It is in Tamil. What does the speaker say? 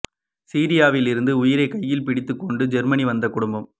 சிரியாவில் இருந்து உயிரை கையில் பிடித்துக் கொண்டு ஜெர்மனி வந்த குடும்பம்